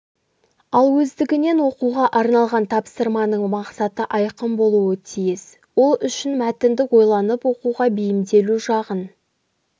ал өздігінен оқуға арналған тапсырманың мақсаты айқын болуы тиіс ол үшін мәтінді ойланып оқуға бейімделу жағын